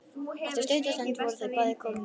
Eftir stutta stund voru þau bæði komin á kreik.